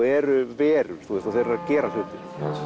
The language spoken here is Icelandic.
eru verur og þeir eru að gera hluti